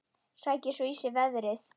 Sækir svo í sig veðrið.